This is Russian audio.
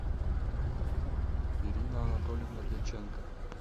ирина анатольевна дьяченко